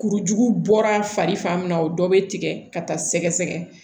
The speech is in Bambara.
Kuru jugu bɔra fari fan min na o dɔ be tigɛ ka taa sɛgɛsɛgɛ